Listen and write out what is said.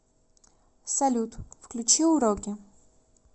салют включи уроки